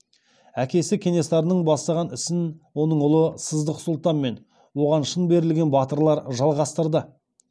әкесі кенесарының бастаған ісін оның ұлы сыздық сұлтан мен оған шын берілген батырлар жалғастырды